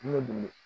N bɛ boli